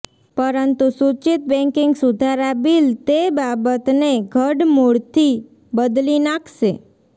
પરંતુ સૂચિત બૅન્કિંગ સુધારા બિલ તે બાબત ને ઘડમૂળથી બદલી નાખશે